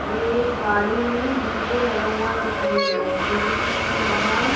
ये एक गाड़ी में डी.जे. लगा हुआ दिखाई दे रहा है म्यूजिक सिस्टम लगा है।